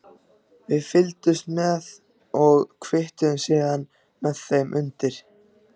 Við fylgdumst með og kvittuðum síðan með þeim undir.